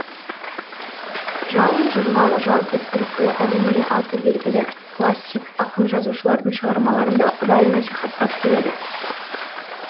жалын журналы жалпы түркі әлеміне аты белгілі классик ақын жазушылардың шығармаларын да ұдайы насихаттап келеді